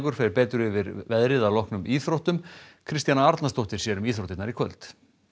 fer betur yfir veðrið að loknum íþróttum Kristjana Arnarsdóttir sér um íþróttirnar í kvöld